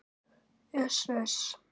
Uss, uss.